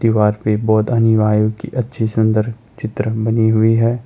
दीवार पर बौद्ध अनुयायी की अच्छी सुंदर चित्र बनी हुई है।